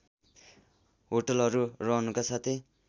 होटलहरू रहनुका साथै